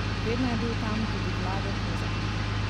Vedno je bil tam tudi Vlado Kozak.